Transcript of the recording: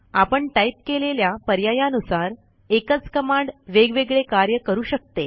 आपण टाईप केलेल्या पर्यायानुसार एकच कमांड वेगवेगळे कार्य करू शकते